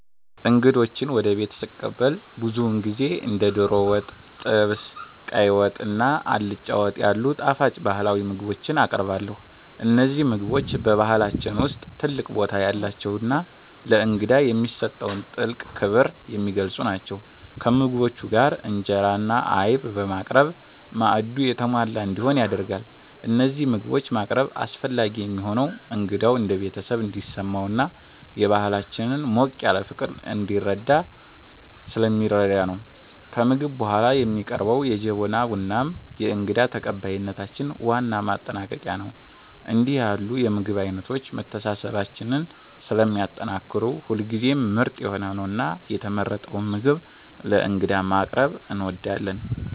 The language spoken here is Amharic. እንግዶችን ወደ ቤት ስቀበል ብዙውን ጊዜ እንደ ዶሮ ወጥ፣ ጥብስ፣ ቀይ ወጥ እና አልጫ ወጥ ያሉ ጣፋጭ ባህላዊ ምግቦችን አቀርባለሁ። እነዚህ ምግቦች በባህላችን ውስጥ ትልቅ ቦታ ያላቸውና ለእንግዳ የሚሰጠውን ጥልቅ ክብር የሚገልጹ ናቸው። ከምግቦቹ ጋር እንጀራ እና አይብ በማቅረብ ማዕዱ የተሟላ እንዲሆን ይደረጋል። እነዚህን ምግቦች ማቅረብ አስፈላጊ የሚሆነው እንግዳው እንደ ቤተሰብ እንዲሰማውና የባህላችንን ሞቅ ያለ ፍቅር እንዲረዳ ስለሚረዳ ነው። ከምግብ በኋላ የሚቀርበው የጀበና ቡናም የእንግዳ ተቀባይነታችን ዋና ማጠናቀቂያ ነው። እንዲህ ያሉ የምግብ አይነቶች መተሳሰባችንን ስለሚያጠናክሩ ሁልጊዜም ምርጥ የሆነውንና የተመረጠውን ምግብ ለእንግዳ ማቅረብ እንወዳለን።